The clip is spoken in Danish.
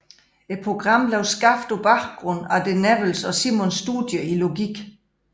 Programmet blev skabt på baggrund af de Newells og Simons studier i logik